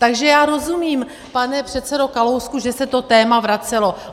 Takže já rozumím, pane předsedo Kalousku, že se to téma vracelo.